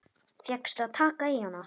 Fékkstu að taka í hana?